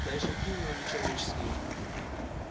да и шаги у него не человеческие